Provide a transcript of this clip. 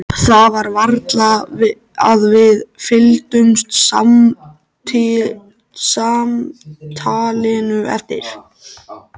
Það var varla að við fylgdum samtalinu eftir.